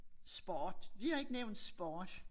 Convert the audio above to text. Sport vi har ikke nævnt sport